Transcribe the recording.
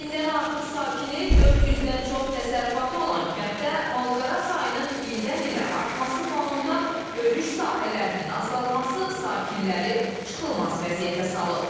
Mindən artıq sakini, 400-dən çox təsərrüfatı olan kənddə malqara sayının ildən-ilə artması fonunda örüş sahələrinin azalması sakinləri çıxılmaz vəziyyətə salıb.